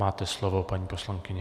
Máte slovo, paní poslankyně.